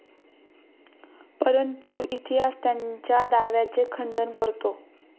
परंतु इतिहास त्यांच्या दाव्यांचे खंडन करतो.